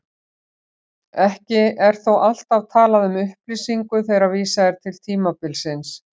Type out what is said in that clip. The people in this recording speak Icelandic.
Ekki er þó alltaf talað um upplýsingu þegar vísað er til tímabilsins.